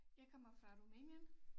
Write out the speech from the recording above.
Jeg kommer fra Rumænien